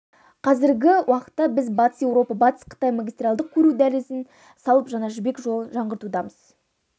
қазіргі уақытта біз батыс еуропа батыс қытай магистральдық көлік дәлізін салып жаңа жібек жолын жаңғыртудамыз